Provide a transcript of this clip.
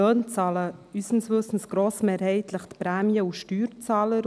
Unseres Wissens bezahlen diese Löhne mehrheitlich die Prämien- und Steuerzahler.